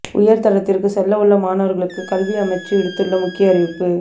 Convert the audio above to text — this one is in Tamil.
உயர் தரத்திற்குச் செல்லவுள்ள மாணவர்களுக்கு கல்வி அமைச்சு விடுத்துள்ள முக்கிய அறிவிப்பு